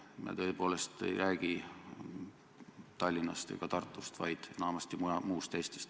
Ma tõepoolest ei räägi Tallinnast ega Tartust, vaid enamasti muust Eestist.